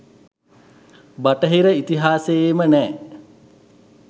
බටහිර ඉතිහාසයේම නෑ.